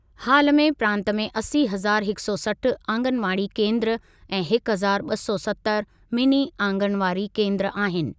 हालु में प्रांतु में असी हज़ार हिकु सौ सठ आंगनवाड़ी केंद्रु ऐं हिकु हज़ार ॿ सौ सतर मिनी आंगनवाड़ी केंद्रु आहिनि।